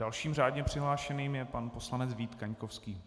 Dalším řádně přihlášeným je pan poslanec Vít Kaňkovský.